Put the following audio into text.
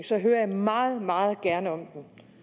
så hører jeg meget meget gerne om